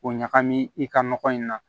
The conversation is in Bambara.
O ɲagami i ka nɔgɔ in na